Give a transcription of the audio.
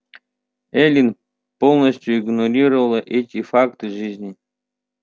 эллин полностью игнорировала эти факты жизни